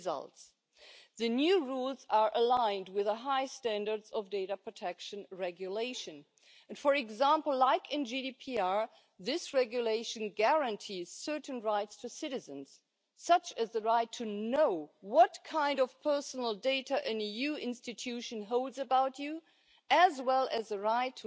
Zbog navedenog mi je posebno drago što danas raspravljamo o prilagodbi institucija, tijela, ureda i agencija Unije istovjetnim pravilima. Proširenje područja pravne sigurnosti cilj je koji u svakoj prilici